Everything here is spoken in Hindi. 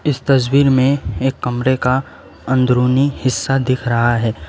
इस तस्वीर में एक कमरे का अंदरूनी हिस्सा दिख रहा है।